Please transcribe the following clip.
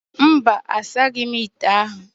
Mba, asaghị m ite ahụ